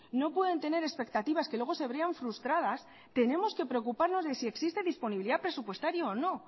no pueden tener expectativas que luego se vean frustradas tenemos que preocuparnos de si existe disponibilidad presupuestaria o no